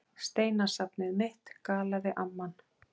Steinasafnið mitt galaði amman.